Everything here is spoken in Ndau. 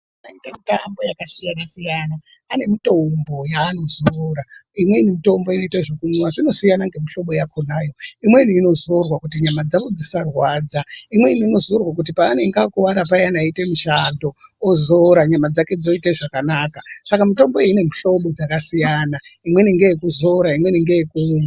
Vanoita mitambo yakasiyana-siyana vane mitombo yavanozora imweni mitombo inoita zvekumwiwa zvinosiyana ngemihlobo yakhonayo imweni inozorwa kuti nyama dzawo dzisarwadza imweni inzorwa kuti paanemge akuwara payana eiita mushando ozora nyama dzake dzoita zvakanaka saka mitombo iyi ine mihlombo dzakasiyana imweni ngeyekuzora imweni ngeyekumwa.